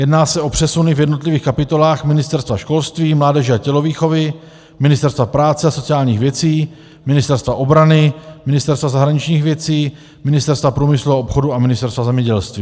Jedná se o přesuny v jednotlivých kapitolách Ministerstva školství, mládeže a tělovýchovy, Ministerstva práce a sociálních věcí, Ministerstva obrany, Ministerstva zahraničních věcí, Ministerstva průmyslu a obchodu a Ministerstva zemědělství.